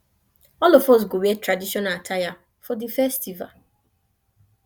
all of us go wear traditional attire for di festival